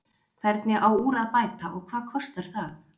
Hvernig á úr að bæta og hvað kostar það?